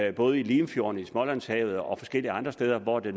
i både limfjorden smålandshavet og forskellige andre steder hvor det